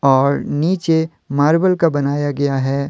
और नीचे मार्बल का बनाया गया है।